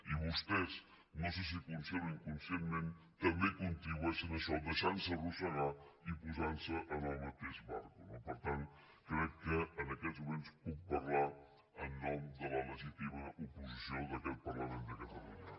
i vostès no sé si conscientment o inconscientment també contribu·eixen a això deixant·se arrossegar i posant·se en el mateix barco no per tant crec que en aquests mo·ments puc parlar en nom de la legítima oposició d’a·quest parlament de catalunya